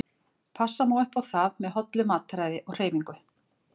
Passa má upp á það með hollu mataræði og hreyfingu.